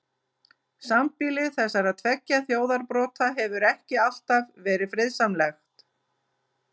Sambýli þessara tveggja þjóðarbrota hefur ekki alltaf verið friðsamlegt.